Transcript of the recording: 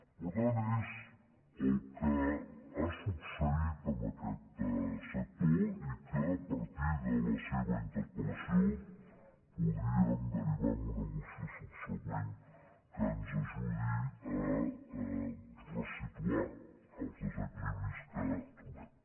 l’important és el que ha succeït amb aquest sector i que a partir de la seva interpel·lació podríem derivar en una moció subsegüent que ens ajudi a ressituar els de·sequilibris que trobem